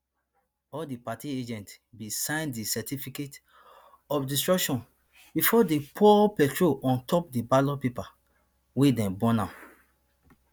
all di party agents bin sign di certificate of destruction bifor dey pour petrol on top di ballot papers wia dey burn am